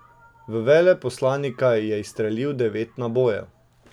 V veleposlanika je izstrelil devet nabojev.